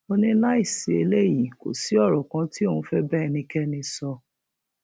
ó ní láì sí eléyìí kò sí ọrọ kan tí òun fẹẹ bá ẹnikẹni sọ